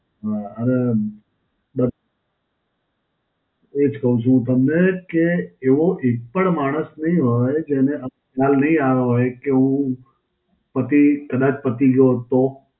હાં હવે, બસ એજ કહું છું તમને કે એવો એક પણ માણસ નહીં હોય જેને ખ્યાલ નહીં આયો હોય કે હું પતી કદાચ પતી ગયો હોત તો.